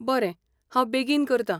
बरें, हांव बेगीन करतां .